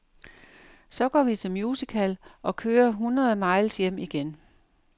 Så går vi til musical og kører hundrede miles hjem igen.